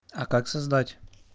а как создать